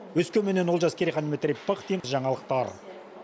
өскеменнен олжас керейхан дмитрий пыхтин жаңалықтар